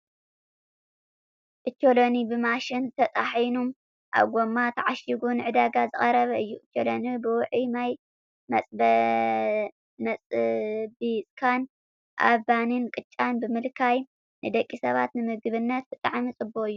ኦቾሎኒ ብማሽን ተጣሒኑ ኣብ ጎማ ታዓሽጉ ንዕዳጋ ዝቀረበ እዩ። ኦቾሎኒ ብውዕይ ማይ መፅቢፅካን ኣብ ባኒን ቅጫን ብምልካይ ንደቂ ሰባት ንምግብነት ብጣዕሚ ፅቡቅ እዩ።